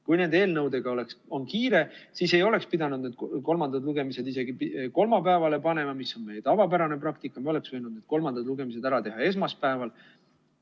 Kui nende eelnõudega on kiire, siis ei oleks pidanud need kolmandad lugemised isegi kolmapäevale panema, mis on meie tavapärane praktika, oleks võinud need kolmandad lugemised ära teha esmaspäeval.